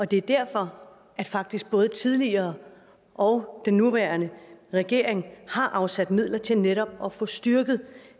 det er derfor at faktisk både den tidligere og den nuværende regering har afsat midler til netop at få styrket